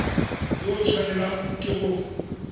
yo o tshwanelang ke go